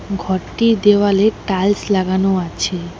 ঘরটির দেওয়ালে টাইলস লাগানো আছে।